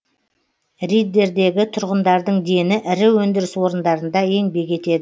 риддердегі тұрғындардың дені ірі өндіріс орындарында еңбек етеді